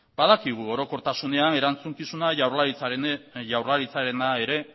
badakigu orokortasunean erantzukizuna jaurlaritzarena ere